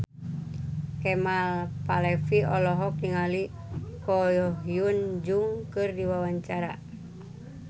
Kemal Palevi olohok ningali Ko Hyun Jung keur diwawancara